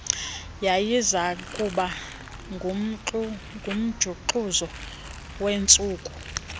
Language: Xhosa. yayizakuba ngumjuxuzo wentsuku